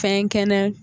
Fɛn kɛnɛ